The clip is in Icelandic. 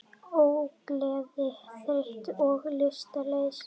Ógleði, þreyta og lystarleysi geta einnig komið fram.